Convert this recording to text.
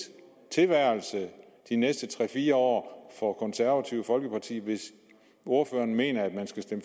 tilværelse de næste tre fire år for det konservative folkeparti hvis ordføreren mener at man skal stemme